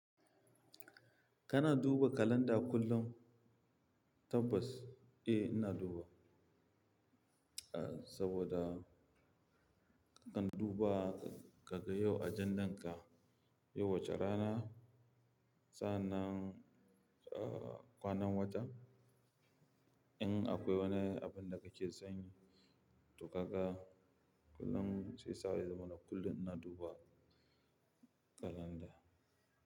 Kana duba kalanda kullum? Tabbas, eh ina duba. Ah, saboda ka kan duba ka ga yau ajandan ka, yau wace rana, sa'anan, ah kwanan wata. In akwai wani abun da kake so yin to kaga kullum sai sa'a, ya zamana kullum ina duba kalanda.